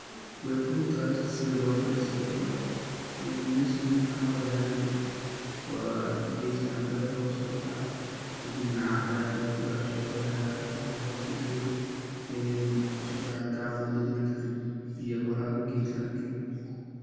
Wey fududahay horta sidha lobaro sawabto ah, meshan waxa weyan wa gedka cambaha oo sobaxayo kadibna cara aya luguguraya shodaha aya hoos kadulelini een shod aya gadal logadejini kadib biya warawi gedkana gali.